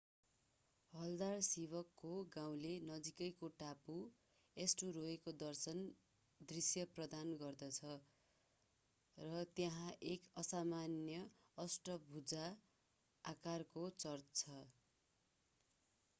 हलदार्सिवकको गाउँले नजिकैको टापु एस्टुरोयको दृश्य प्रदान गर्दछ र त्यहाँ एक असामान्य अष्टभुजा आकारको चर्च छ